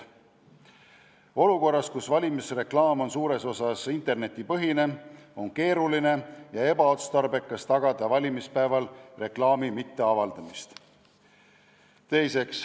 Olukorras, kus valimisreklaam on suures osas internetipõhine, on keeruline ja ebaotstarbekas tagada, et valimispäeval reklaami ei avaldataks.